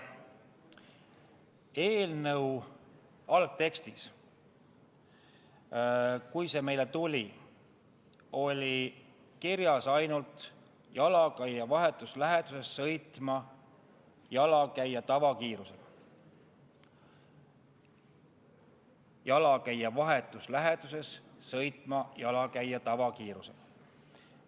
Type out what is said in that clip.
Eelnõu algtekstis, kui see meile tuli, oli kirjas ainult nii, et nad peavad "jalakäija vahetus läheduses sõitma jalakäija tavakiirusega".